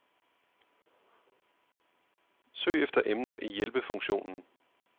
Søg efter emner i hjælpefunktionen.